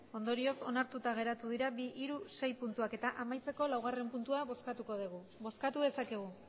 ondorioz onartuta geratu dira bi hiru sei puntuak eta amaitzeko laugarrena puntua bozkatuko dugu bozkatu dezakegu